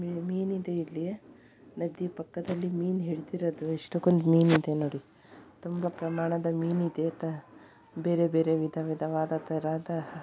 ಮೀನು ಇದೆ ಇಲ್ಲಿ ನದಿಯ ಪಕ್ಕದಲ್ಲಿ ಮೀನು ಹಿಡಿದಿರೋದು ಎಷ್ಟು ಕೊಂದು ಮೀನುನೋಡಿ ತುಂಬಾ ಪ್ರಮಾಣದಲ್ಲಿ ಮೀನು ಇದೆ ಅಂತ ಬೇರೆ ಬೇರೆ ವಿಧವಿಧವಾದಂತಹ--